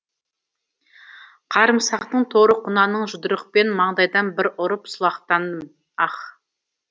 қарымсақтың торы құнанын жұдырықпен маңдайдан бір ұрып сұлатқаным аһ